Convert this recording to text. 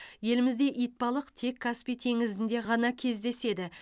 елімізде итбалық тек каспий теңізінде ғана кездеседі